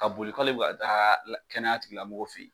Ka boli k'ale bɛ ka taa la kɛnɛyatigilamɔgɔw fɛ yen